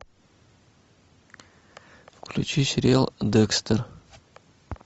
включи сериал декстер